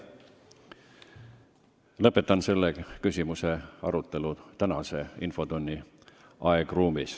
Lõpetan selle küsimuse arutelu tänase infotunni aegruumis.